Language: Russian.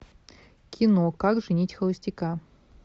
кино как женить холостяка